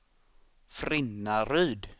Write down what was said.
Frinnaryd